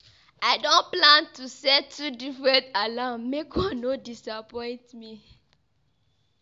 I don plan to set two different alarm make one no disappoint me.